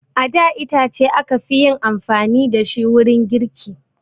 A da itace aka fi yin amfani da shi wurin girki